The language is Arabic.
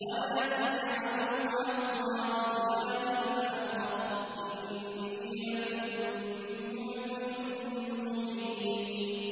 وَلَا تَجْعَلُوا مَعَ اللَّهِ إِلَٰهًا آخَرَ ۖ إِنِّي لَكُم مِّنْهُ نَذِيرٌ مُّبِينٌ